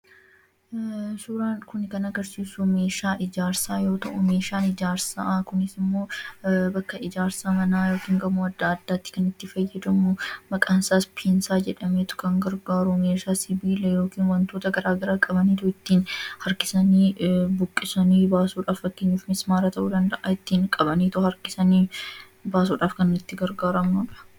Suuraan Kun kan agarsiisu meeshaa ijaarsaa yoo ta'u, meeshaan ijaarsa Kun immoo bakka manaa yookiin immoo gamoo aaddaa kan itti fayyadamnu, maqaan isaas piinsaa jedhameetu kan gargaaru meeshaa sibiila yookiin waantota garaagaraa qabanii ittiin harkisanii buqqisanii baasuuf fakkeenyaaf bismaara ta'uu danda'a qabanii kan ittiin baasuudhaaf kan itti gargaaramnudha.